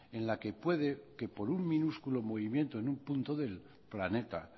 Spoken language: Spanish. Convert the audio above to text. en la que puede que por un minúsculo movimiento en un punto del planeta